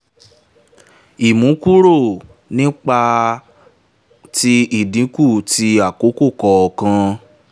ìmúkúrò ní ipa ti ìdínkù ti àkókò kọ̀ọ̀kan